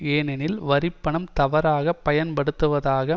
ஏனெனில் வரி பணம் தவறாக பயன்படுத்தப்படுவதாக